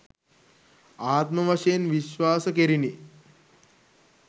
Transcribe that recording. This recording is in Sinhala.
ආත්ම වශයෙන් විශ්වාස කෙරිණි.